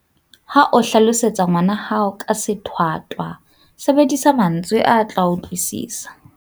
Ha o hlalosetsa ngwana hao ka sethwathwa, sebedisa mantswe a tla a utlwisisa.